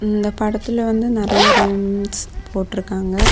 இந்த படத்துல வந்து நறைய ரூம்ஸ் போட்டுருக்காங்க.